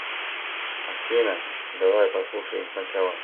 афина давай послушаем сначала